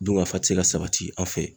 Dunkafa tɛ se ka sabati an fɛ